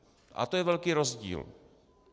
A to je velký rozdíl.